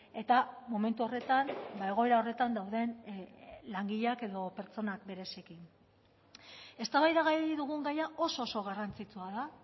eta momentu horretan egoera horretan dauden langileak edo pertsonak bereziki eztabaidagai dugun gaia oso oso garrantzitsua da